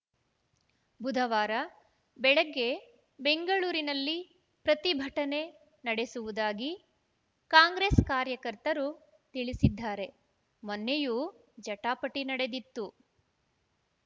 ಬುಧವಾರ ಬೆಳಗ್ಗೆ ಬೆಂಗಳೂರಿನಲ್ಲಿ ಪ್ರತಿಭಟನೆ ನಡೆಸುವುದಾಗಿ ಕಾಂಗ್ರೆಸ್‌ ಕಾರ್ಯಕರ್ತರು ತಿಳಿಸಿದ್ದಾರೆ ಮೊನ್ನೆಯೂ ಜಟಾಪಟಿ ನಡೆದಿತ್ತು